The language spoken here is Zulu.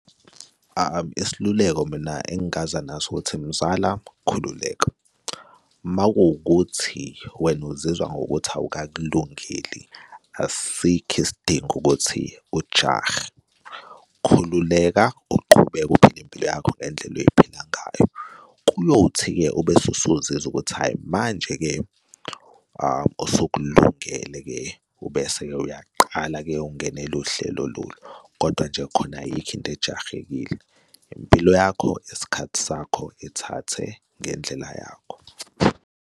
Isiluleko mina engaza naso ukuthi mzala, khululeka, uma kuwukuthi wena uzizwa ngokuthi awukakulungeli asikho isidingo ukuthi ujahe. Khululeka uqhubeke uphile impilo yakho ngendlela oyiphila ngayo. Kuyothi-ke ubese usuzizwa ukuthi, hhayi, manje-ke usukulungele-ke ubese-ke uyaqala-ke ungenele uhlelo lolu. Kodwa nje khona ayikho into ejahekile, impilo yakho, isikhathi sakho ethathe ngendlela yakho.